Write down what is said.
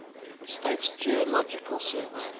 states geological survey